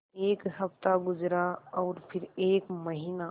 एक हफ़्ता गुज़रा और फिर एक महीना